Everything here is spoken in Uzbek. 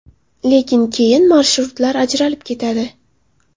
Lekin keyin marshrutlar ajralib ketadi.